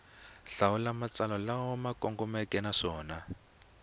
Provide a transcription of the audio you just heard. hlawula matsalwa lama kongomeke naswona